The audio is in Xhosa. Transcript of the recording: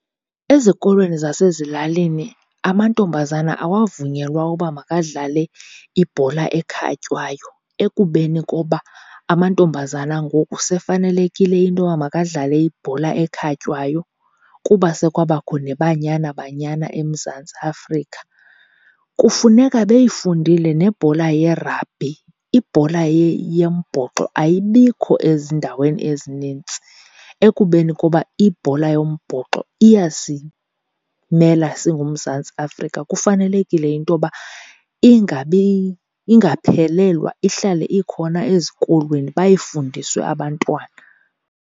Ezikolweni zasezilalini amantombazana awavunyelwa uba makadlale ibhola ekhatywayo, ekubeni koba amantombazana ngoku sefanelekile into yoba makadlale ibhola ekhatywayo kuba sekwabakho neBanyana Banyana eMzantsi Afrika. Kufuneka beyifundile nebhola ye-rugby. Ibhola yombhoxo ayibikho ezindaweni ezinintsi, ekubeni koba ibhola yombhoxo iyasimela singuMzantsi Afrika. Kufanelekile into yoba ingaphelelwa, ihlale ikhona ezikolweni bayifundiswe abantwana.